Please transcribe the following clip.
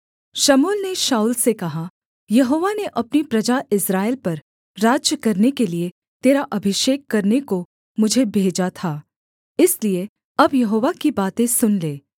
शमूएल ने शाऊल से कहा यहोवा ने अपनी प्रजा इस्राएल पर राज्य करने के लिये तेरा अभिषेक करने को मुझे भेजा था इसलिए अब यहोवा की बातें सुन ले